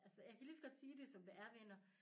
Altså jeg kan lige så godt sige det som det er venner